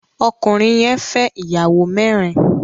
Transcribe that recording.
Ọkùnrin yẹn fẹ́ ìyàwó mẹ́rin.